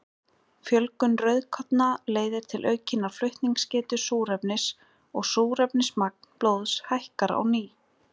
Fjölgun rauðkorna leiðir til aukinnar flutningsgetu súrefnis og súrefnismagn blóðs hækkar á ný.